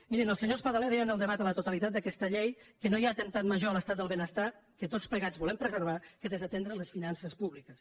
mirin el senyor espadaler deia en el debat a la totalitat d’aquesta llei que no hi ha atemptat major contra l’estat del benestar que tots plegats volem preservar que desatendre les finances públiques